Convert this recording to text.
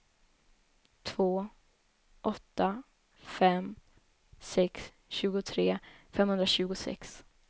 två åtta fem sex tjugotre femhundratjugosex